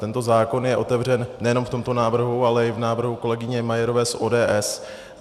Tento zákon je otevřen nejenom v tomto návrhu, ale i v návrhu kolegyně Majerové z ODS.